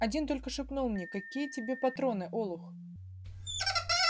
один только шепнул мне какие тебе патроны олух